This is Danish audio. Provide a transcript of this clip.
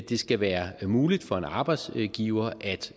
det skal være muligt for en arbejdsgiver at